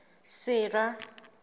sera